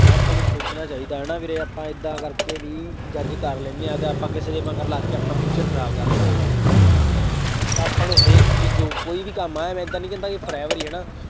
ਆਪਾਂ ਨੂੰ ਸੋਚਣਾ ਚਾਹੀਦਾ ਹੈ ਨਾ ਵੀਰੇ ਆਪਾਂ ਏਦਾਂ ਕਰਕੇ ਵੀ judge ਕਰ ਲੈਂਦੇ ਹਾਂ ਅਤੇ ਆਪਾਂ ਕਿਸੇ ਦੇ ਮਗਰ ਲੱਗ ਕੇ ਆਪਣਾ future ਖਰਾਬ ਕਰ ਲੈਂਦੇ ਹਾਂ career ਤਾਂ ਆਪਾਂ ਨੂੰ ਹਰੇਕ ਚੀਜ਼ ਜੋ ਕੋਈ ਵੀ ਕੰਮ ਹੈ ਮੈਂ ਏਦਾਂ ਨਹੀਂ ਕਹਿੰਦਾ ਕਿ forever ਹੀ ਹੈ ਨਾ।